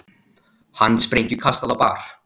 Handsprengju kastað á bar